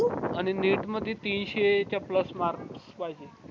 आणि neet मधी तीनशे च्या plus marks पाहिजे